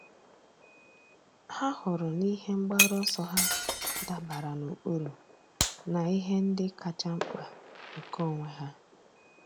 Há hụrụ na ihe mgbaru ọsọ ha dabara n’ụ́kpụ́rụ́ na ihe ndị kacha mkpa nke onwe ha.